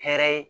Hɛrɛ ye